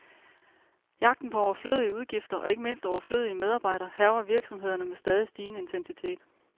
Jagten på overflødige udgifter, og ikke mindst overflødige medarbejdere, hærger virksomhederne med stadig stigende intensitet.